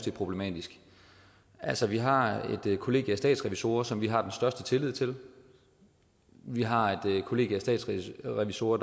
er problematisk altså vi har et kollegie af statsrevisorer som vi har den største tillid til vi har et kollegie af statsrevisorer